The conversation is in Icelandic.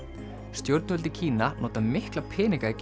stjórnvöld í Kína nota mikla peninga í